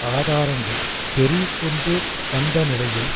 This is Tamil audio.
ஆதாரங்கள் பெருகிகொண்டு வந்த நிலையில்